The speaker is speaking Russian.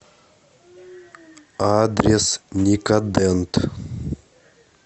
адрес никодент